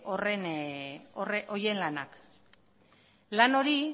horien lanak lan hori